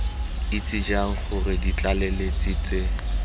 itse jang gore ditlaleletsi tse